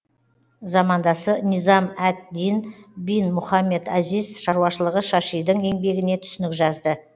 замандасы низам әд дин бин мұхаммед азиз шаруашылығы шашидің еңбегіне түсінік жазды